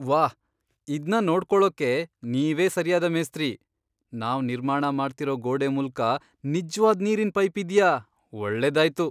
ವಾಹ್, ಇದ್ನ ನೋಡ್ಕೊಳೋಕೆ ನೀವೇ ಸರಿಯಾದ ಮೇಸ್ತ್ರಿ. ನಾವ್ ನಿರ್ಮಾಣ ಮಾಡ್ತಿರೋ ಗೋಡೆ ಮೂಲ್ಕ ನಿಜ್ವಾದ್ ನೀರಿನ್ ಪೈಪ್ ಇದ್ಯಾ ? ಒಳ್ಳೆದಾಯ್ತು